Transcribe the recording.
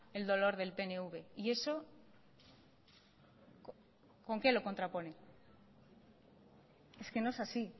el dolor del pnv y eso con qué lo contrapone es que no es así